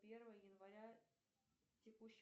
первое января текущее